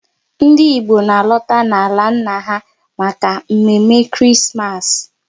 Ndị Igbo na alota n'ala nna ha maka mme mme Krismas